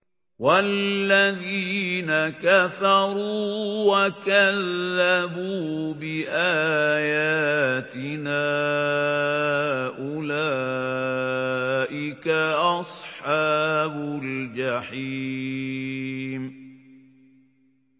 وَالَّذِينَ كَفَرُوا وَكَذَّبُوا بِآيَاتِنَا أُولَٰئِكَ أَصْحَابُ الْجَحِيمِ